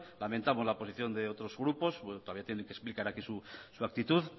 lamentamos la posición de otros grupos bueno todavía tienen que explicar aquí su actitud